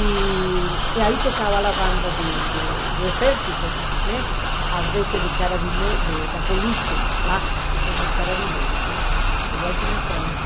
E e aí tocava a banda de de do exército, às vezes de da polícia lá, que se chamam, igual que na França.